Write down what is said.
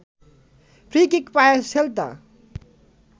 free kick পায় Celta